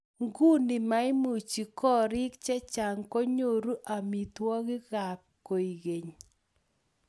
nguni maimuchi koriik che chang' konyoru amitwogikab kwekeny